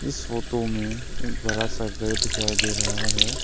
इस फोटो में एक बड़ा सा घर दिखाई दे रहा है।